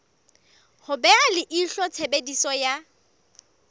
ho beha leihlo tshebediso ya